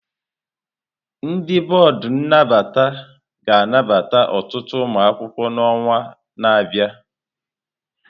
Ndị bọọdụ nnabata ga-anabata ọtụtụ ụmụ akwụkwọ n'ọnwa na-abịa.